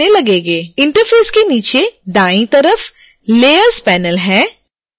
interface के नीचे दाईं तरफ़ layers panel है